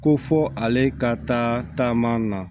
Ko fo ale ka taama na